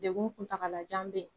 Degun kuntagalajan bɛ yen